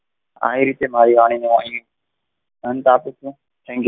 આવી રીતે મારી વાણી તોહ આહી અંત આપું છું